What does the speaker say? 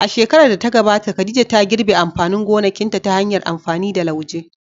A shekarar da ta gabata, Khadija ta girbe amfanin gonakinta ta hanyar amfani da lauje.